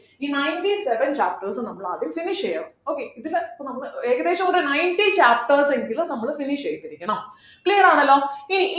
ഈ ninety seven chapters ഉം നമ്മളാദ്യം finish ചെയ്യണം okay ഇതിനെ ഇപ്പൊ നമ്മള് ഏകദേശം ഒരു ninety chapters എങ്കിലും നമ്മള് finish ചെയ്തിരിക്കണം clear ആണല്ലോ ഇനി